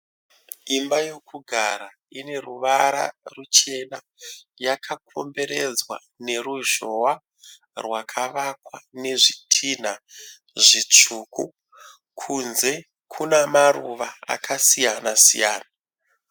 Imba yekugara ine ruvara ruchena . yakakomberedza neruzhowa rwakavakwa nezvitinha zvitsvuku. Kunze kuna maruva akasiyana siyana.